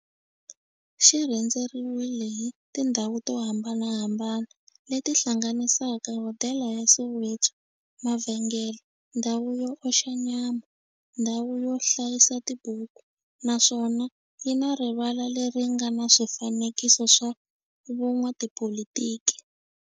Xi rhendzeriwile hi tindhawu to hambanahambana le ti hlanganisaka, hodela ya Soweto, mavhengele, ndhawu yo oxa nyama, ndhawu yo hlayisa tibuku, naswona yi na rivala le ri nga na swifanekiso swa vo n'watipolitiki.